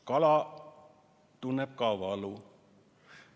Kala tunneb ka valu.